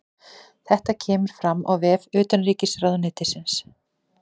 Þetta kemur fram á vef utanríkisráðuneytisins